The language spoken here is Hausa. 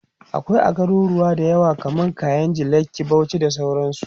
akwai a garuruwa da yawa kaman kainji, lekki, Bauchi da sauransu